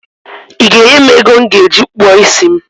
I ga enye m ego m ga eji kpụọ isi m?